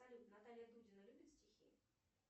салют наталья дудина любит стихи